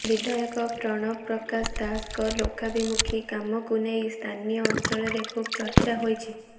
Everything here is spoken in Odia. ବିଧାୟକ ପ୍ରଣବ ପ୍ରକାଶ ଦାସଙ୍କ ଲୋକାଭିମୁଖୀ କାମକୁ ନେଇ ସ୍ଥାନୀୟ ଅଞ୍ଚଳରେ ଖୁବ୍ ଚର୍ଚ୍ଚା ହୋଉଛି